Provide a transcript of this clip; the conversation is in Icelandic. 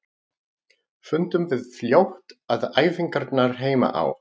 Fundum við fljótt að æfingarnar heima á